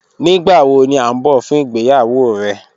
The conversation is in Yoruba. Nigbawo ni a n bọ fun igbeyawo rẹ?